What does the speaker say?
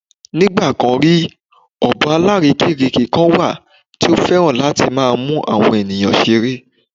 Nigba kan rí, ọ̀bọ alárèékérekè kan wà tí ó fẹ́ràn láti máa mú awon ènìyàn ṣeré.